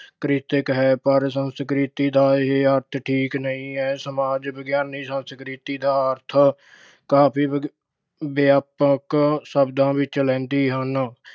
ਕ੍ਰਿਤ ਅਹ ਹੈ ਪਰ ਸੰਸਕ੍ਰਿਤੀ ਦਾ ਇਹ ਅਰਥ ਠੀਕ ਨਹੀਂ ਹੈ। ਸਮਾਜ ਵਿਗਿਆਨੀ ਸੰਸਕ੍ਰਿਤੀ ਦਾ ਅਰਥ ਕਾਫੀ ਵਿਆਪਕ ਅਹ ਸ਼ਬਦਾਂ ਵਿੱਚ ਲੈਂਦੇ ਹਨ।